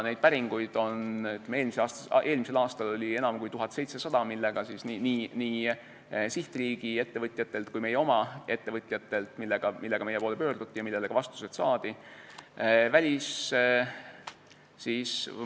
Neid päringuid nii sihtriikide ettevõtjatelt kui ka meie oma ettevõtjatelt, millega meie poole on pöördutud ja millele ka vastused on saadud, oli eelmisel aastal enam kui 1700.